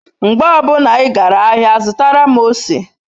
Mgbe obuna I gara ahia zutara m ose